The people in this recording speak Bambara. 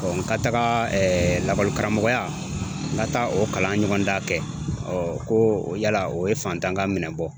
n ka taga lakɔlikaramɔgɔya n ka taa o kalan ɲɔgɔndan kɛ ɔ ko yala o ye faantan ka minɛ bɔ